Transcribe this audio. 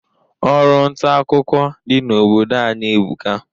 Ọrụ ntaakụkọ dị n'obodo anyị ebuka.